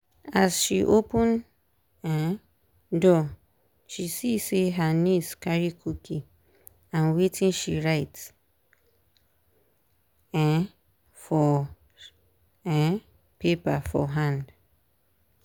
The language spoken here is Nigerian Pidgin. as she open um door she see say her niece carry cookie and watin she write um for um paper for hand.